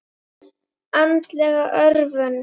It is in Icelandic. Andleg örvun.